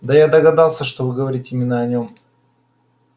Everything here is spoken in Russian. да я догадался что вы говорите именно о нём